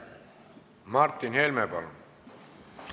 Martin Helme, palun!